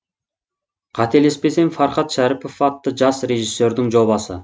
қателеспесем фархат шәріпов атты жас режиссердің жобасы